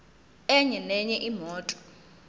enye nenye imoto